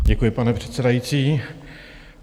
Děkuji, pane předsedající.